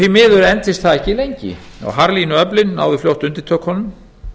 því miður entist það ekki lengi og harðlínuöflin náðu fljótt undirtökunum